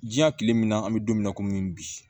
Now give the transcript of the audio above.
Diɲɛ kile min na an bɛ don min na komi bi